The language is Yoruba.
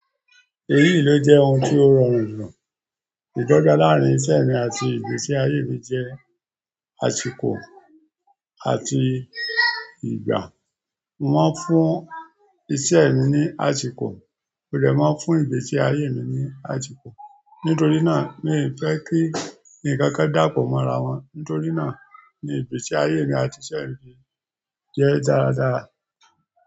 Èyí ló jẹ́ oun ti o rọrùn jù. Ìdọ́gba láàrin iṣẹ́ mi àti ìgbésí ayé mi jẹ́ àsìkò àti ìgbà. Wọ́n fún iṣẹ́ mi ní àsìkò, mó dè máa n fún ìgbésí ayé mi ní àsìkò. Nítorí náà mi n fẹ́ kí ǹkan kan dàpọ̀ mọ́ ara wọn, nítorí náà ni ìgbésí ayé mi àti iṣẹ́ mi jẹ́ dáradára.